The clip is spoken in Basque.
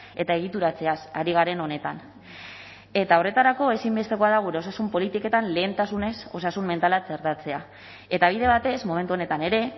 eta egituratzeaz ari garen honetan eta horretarako ezinbestekoa da gure osasun politiketan lehentasunez osasun mentala txertatzea eta bide batez momentu honetan ere